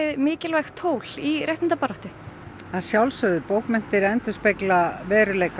mikilvægt tól í réttindabaráttu að sjálfsögðu bókmenntir endurspegla veruleikann